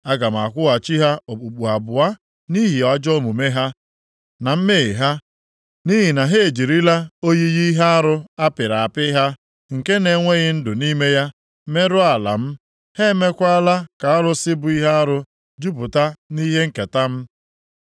Aga m akwụghachi ha okpukpu abụọ nʼihi ajọ omume ha, na mmehie ha, nʼihi na ha ejirila oyiyi ihe arụ a pịrị apị ha, nke na-enweghị ndụ nʼime ya, merụọ ala m. Ha emeekwala ka arụsị bụ ihe arụ jupụta nʼihe nketa m.”